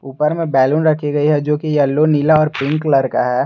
ऊपर में बैलून रखी गई है जो की येलो नीला और पिंक कलर का है।